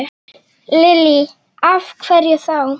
Lillý: Af hverju þá?